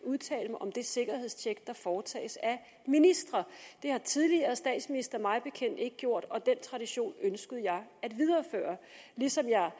at udtale mig om det sikkerhedstjek der foretages af ministre det har tidligere statsministre mig bekendt ikke gjort og den tradition ønskede jeg at videreføre ligesom jeg